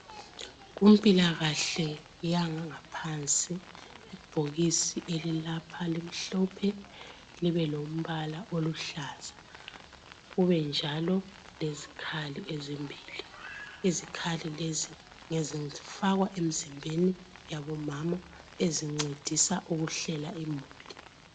Kumpilakahle yangaphansi ibhokisi elilapha limhlophe libe lombala oluhlaza. Kube njalo lezikhali ezimbili. Izikhali lezi zifakwa emizimbeni yabomama ezincedisa ukuhlela imuli.